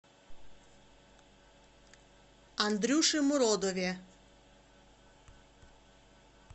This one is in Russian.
андрюше муродове